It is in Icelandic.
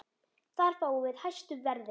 Þar fáum við hæstu verðin.